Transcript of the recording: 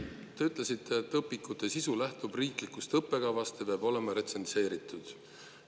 Te ütlesite, et õpikute sisu lähtub riiklikust õppekavast ja peab olema retsenseeritud.